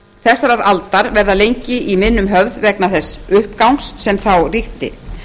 þessarar aldar verða lengi í minnum höfð vegna þess uppgangs sem á ríkti